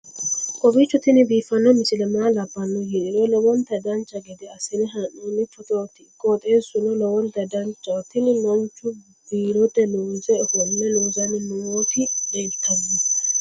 kowiicho tini biiffanno misile maa labbanno yiniro lowonta dancha gede assine haa'noonni foototi qoxeessuno lowonta danachaho. tini manchu biirote looso ofolle loosanni nooti leeltanno